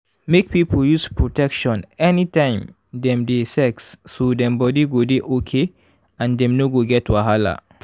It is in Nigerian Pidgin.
make people use protection anytime dem dey sex so dem body go dey okay and dem no go get wahala.